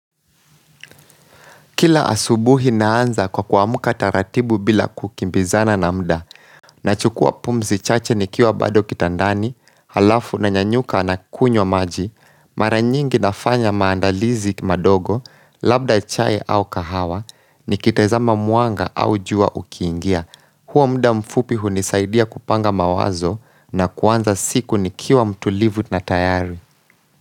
Kila asubuhi naanza kwa kuamka taratibu bila kukimbizana na mda, na chukua pumzi chache nikiwa bado kitandani, halafu na nyanyuka na kunywa maji, maranyingi nafanya maandalizi madogo, labda chae au kahawa, nikitezama mwanga au jua ukiingia. Huo mda mfupi hunisaidia kupanga mawazo na kuanza siku nikiwa mtulivu na tayari.